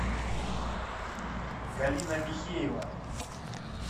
галина михеева